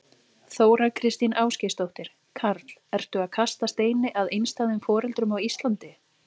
Þóra Kristín Ásgeirsdóttir: Karl, ertu að kasta steini að einstæðum foreldrum á Íslandi?